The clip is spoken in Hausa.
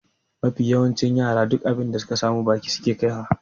Mafi yawancin yara duk abin da suka samu baki suke kaiwa.